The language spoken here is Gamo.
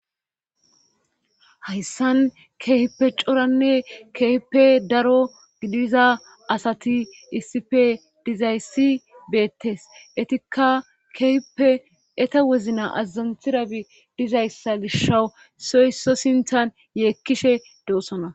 Hayssan keipe coranne keype daro gidiza asati issife dizayssi beettes etikka keyippe eta wezna azazantirabi dizayssa gisha soyso sinthan yeekkishe doossona